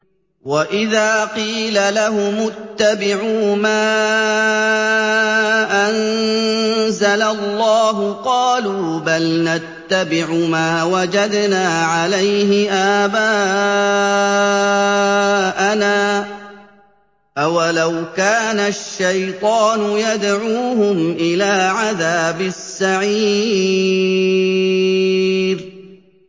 وَإِذَا قِيلَ لَهُمُ اتَّبِعُوا مَا أَنزَلَ اللَّهُ قَالُوا بَلْ نَتَّبِعُ مَا وَجَدْنَا عَلَيْهِ آبَاءَنَا ۚ أَوَلَوْ كَانَ الشَّيْطَانُ يَدْعُوهُمْ إِلَىٰ عَذَابِ السَّعِيرِ